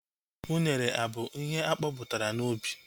Unere abụ ihe akọpụtara n'ubi?